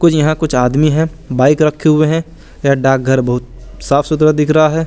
कुछ यहां कुछ आदमी है बाइक रखे हुए है ये डाक घर बहुत साफ सुधरा दिख रहा है।